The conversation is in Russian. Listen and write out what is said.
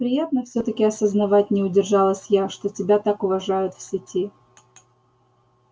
приятно всё-таки осознавать не удержалась я что тебя так уважают в сети